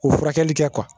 O furakɛli kɛ